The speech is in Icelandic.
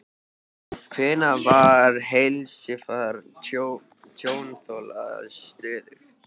Hvenær var heilsufar tjónþola stöðugt?